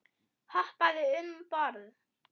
Hoppaðu um borð.